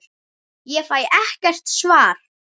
Ég fæ ekkert svar.